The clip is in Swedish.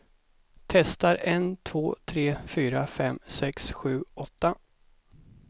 Testar en två tre fyra fem sex sju åtta.